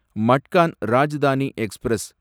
Madgaon Rajdhani express